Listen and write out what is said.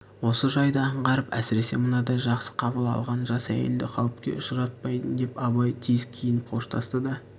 осы жайды аңғарып әсіресе мынадай жақсы қабыл алған жас әйелдерді қауіпке ұшыратпайын деп абай тез киініп қоштасты да